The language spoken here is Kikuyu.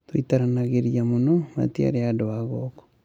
Tũitaranagĩria mũno, matiarĩ andũ agũkũ.